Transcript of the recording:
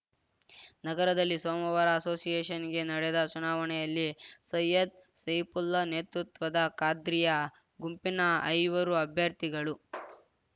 ನಗರದಲ್ಲಿ ಸೋಮವಾರ ಅಸೋಸಿಯೇಷನ್‌ಗೆ ನಡೆದ ಚುನಾವಣೆಯಲ್ಲಿ ಸೈಯದ್‌ ಸೈಫುಲ್ಲಾ ನೇತೃತ್ವದ ಖಾದ್ರಿಯ ಗುಂಪಿನ ಐವರು ಅಭ್ಯರ್ಥಿಗಳು